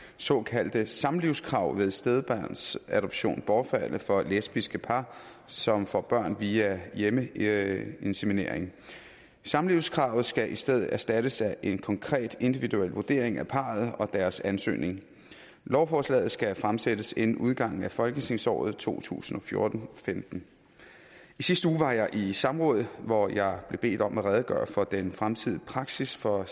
såkaldte samlivskrav ved stedbarnsadoption bortfalde for lesbiske par som får børn via hjemmeinseminering samlivskravet skal i stedet erstattes af en konkret individuel vurdering af parret og deres ansøgning lovforslaget skal fremsættes inden udgangen af folketingsåret to tusind og fjorten til femten i sidste uge var jeg i samråd hvor jeg blev bedt om at redegøre for den fremtidige praksis for